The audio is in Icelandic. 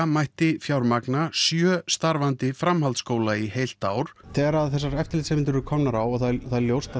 mætti fjármagna sjö starfandi framhaldsskóla í eitt ár þegar þessi eftirlitsnefnd er komin á og það er ljóst að